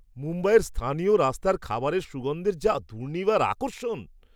মুম্বাইয়ের স্থানীয় রাস্তার খাবারের সুগন্ধের যা দুর্নিবার আকর্ষণ!